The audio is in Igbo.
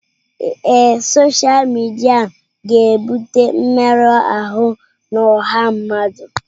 Ee, sọsha midia ga-ebute mmerụ ahụ na ọha mmadụ.